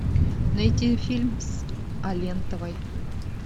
найти фильм с алентовой